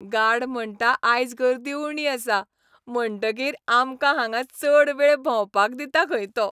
Guard म्हणटा आयज गर्दी उणी आसा, म्हणटकीर आमकां हांगा चड वेळ भोंवपाक दिता खंय तो.